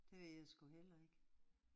Det ved jeg sgu heller ikke